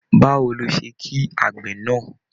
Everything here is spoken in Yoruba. Báwo ló ṣe kí àgbè náà?